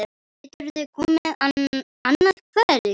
Geturðu komið annað kvöld?